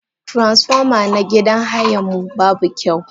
Transfoma na gidan hayan mu babu kyau.